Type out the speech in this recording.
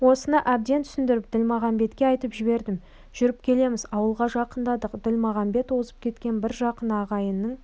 осыны әбден түсіндіріп ділмағамбетке айтып жібердім жүріп келеміз ауылға жақындадық ділмағамбет озып кеткен бір жақын ағайынның